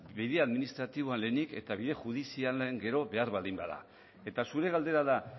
bide administratiboan lehenik eta bide judizialean gero behar baldin bada eta zure galdera da